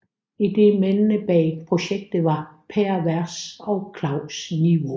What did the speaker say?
Idémændene bag projektet var Per Vers og Claus Nivaa